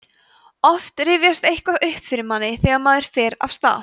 oft rifjast eitthvað upp fyrir manni þegar maður fer af stað